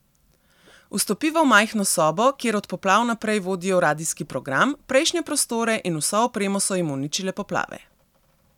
Vstopiva v majhno sobo, kjer od poplav naprej vodijo radijski program, prejšnje prostore in vso opremo so jim uničile poplave.